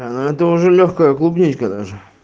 а ну это уже лёгкая клубничка даже